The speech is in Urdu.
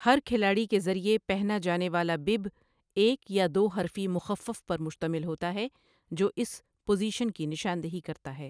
ہر کھلاڑی کے ذریعے پہنا جانے والا 'بِب' ایک یا دو حرفی مخفف پر مشتمل ہوتا ہے جو اس پوزیشن کی نشاندہی کرتا ہے۔